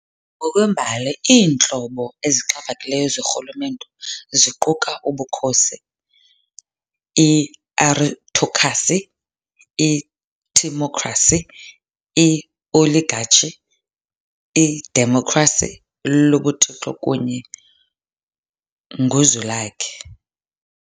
Ngokwembali iintlobo ezixhaphakileyo zorhulumento ziquka ubukhosi, i-aristokhrasi, i-timokhrasi, i-oligatshi, idemokhrasi, lobuthixo kunye nguzwilakhe .